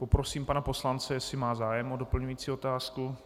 Poprosím pana poslance, jestli má zájem o doplňující otázku.